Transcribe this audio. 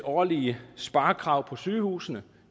årlige sparekrav på sygehusene